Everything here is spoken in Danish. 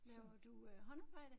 Laver du øh håndarbejde?